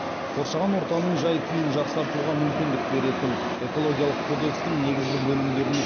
қоршаған ортаның жай күйін жақсартуға мүмкіндік беретін экологиялық кодекстің негізгі бөлімдеріне